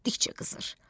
Getdikcə qızır.